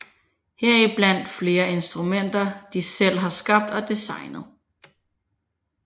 Heriblandt flere instrumenter de selv har skabt og designet